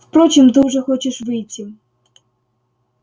впрочем ты уже хочешь выйти